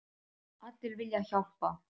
Allir vilja hjálpa.